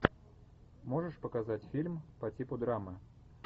можешь показать фильм по типу драмы